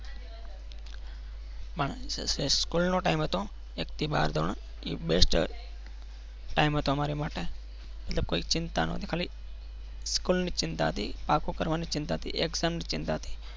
પણ school નો time હતો એક થી બાર ધોરણ એ best time હતો અમારે માટે એટલે કોઈ ચિંતા નથી ખાલી schhol ની ચિંતા હતી પાકુ કરવાની ચિંતા હતી exam ની ચિંતા હતી.